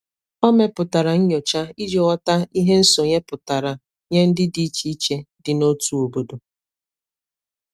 o mepụtara nnyocha iji nghota ihe nsonye pụtara nye ndi di iche iche di na ọtụ obodo